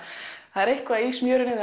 það er eitthvað í smjörinu